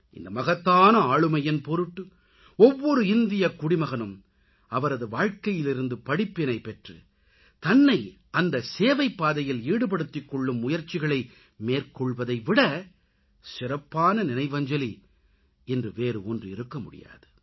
இந்த மகத்தான ஆளுமையின் பொருட்டு ஒவ்வொரு இந்தியக் குடிமகனும் அவரது வாழ்க்கையிலிருந்து படிப்பினை பெற்று தன்னை அந்த சேவைப் பாதையில் ஈடுபடுத்திக் கொள்ளும் முயற்சிகளை மேற்கொள்வதை விடச் சிறப்பான நினைவஞ்சலி இன்று வேறு ஒன்று இருக்க முடியாது